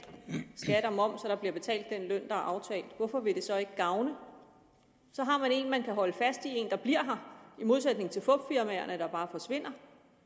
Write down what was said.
der bliver betalt den løn der er aftalt hvorfor vil det så ikke gavne så har man en man kan holde fast i en der bliver her i modsætning til fupfirmaerne der bare forsvinder